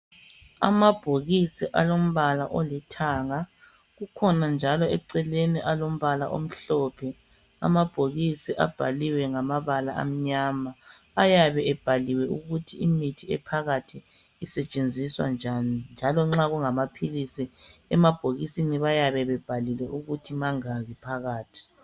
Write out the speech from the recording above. Amabhokisi alombala olithanga, kukhona njalo eceleni alombala omhlophe. Amabhokisi abhaliwe ngamabala amnyama. Ayabe ebhaliwe ukuthi imithi ephakathi isetshenziswa njani, njalo nxa kungamaphilisi emabhokisini bayabe bebhalile ukuthi mangaki phakathi.